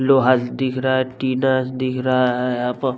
लोहा दिख रहा है टीना दिख रहा है यहाँ प --